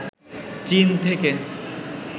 চীন থেকে